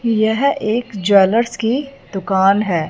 यह एक ज्वेलर्स की दुकान है।